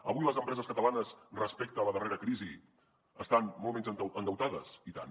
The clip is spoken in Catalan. avui les empreses catalanes respecte a la darrera crisi estan molt menys endeutades i tant